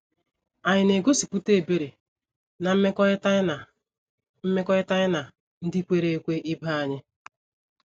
Ànyị na - egosipụta ebere ná mmekọrịta anyị ná mmekọrịta anyị na ndị kwere ekwe ibe anyị?